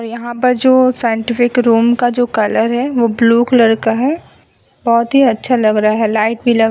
यहाँ पर जो साइंटिफिक रूम का जो कलर है वो ब्लू कलर का है। बहोत ही अच्छा लग रहा है। लाइट भी लग--